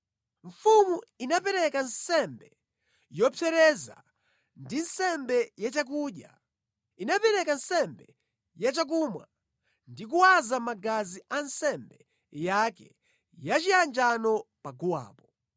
Mfumu inapereka nsembe yopsereza ndi nsembe ya chakudya. Inapereka nsembe yachakumwa ndi kuwaza magazi a nsembe yake yachiyanjano paguwapo.